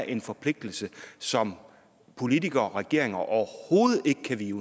en forpligtelse som politikere og regeringer overhovedet ikke kan vige